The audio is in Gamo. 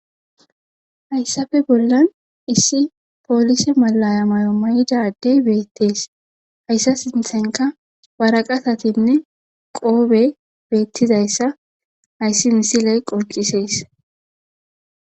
Hayssafe bollan issi poolise mallaya mayo mayida ade beettes hayssa sinththenkka waraqatatinne qoobe beeththizayssa hayssi misile qonccisses.